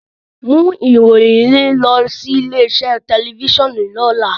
Mu iroyin yii lọ si ile-iṣe tẹlifisiọnu lọla!